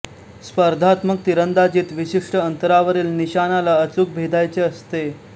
स्पर्धात्मक तिरंदाजीत विशिष्ट अंतरावरील निषाणाला अचूक भेदायचे असते